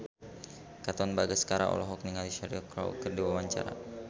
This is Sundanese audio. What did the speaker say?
Katon Bagaskara olohok ningali Cheryl Crow keur diwawancara